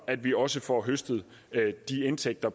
at vi også får høstet de indtægter